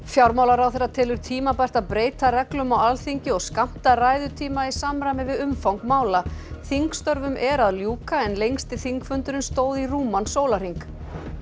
fjármálaráðherra telur tímabært að breyta reglum á Alþingi og skammta ræðutíma í samræmi við umfang mála þingstörfum er að ljúka en lengsti þingfundurinn stóð í rúman sólarhring